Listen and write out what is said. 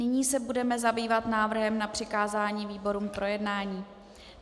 Nyní se budeme zabývat návrhem na přikázání výborům k projednání.